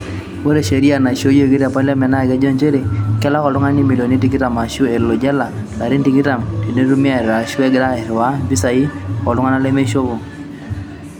Ore sheria naishooyioki te paliament naa kejo nchere kelak oltungani imilioni tikitam aashu elo jela larin tikitam tenetumi eeta ashu egira airiwaa impishai oltungana lemeishopo